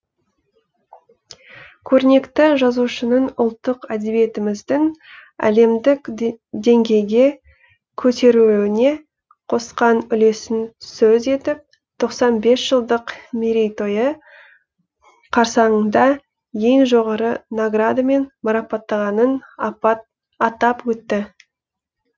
көрнекті жазушының ұлттық әдебиетіміздің әлемдік деңгейге көтерілуіне қосқан үлесін сөз етіп жылдық мерейтойы қарсаңында ең жоғары наградамен марапаттағанын атап өтті